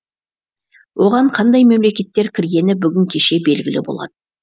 оған қандай мемлекеттер кіргені бүгін кеше белгілі болады